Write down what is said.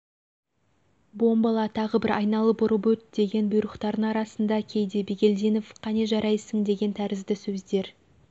бомбала тағы бір айналып ұрып өт деген бұйрықтардың арасында кейде бигелдинов қане жарайсың деген тәрізді сөздер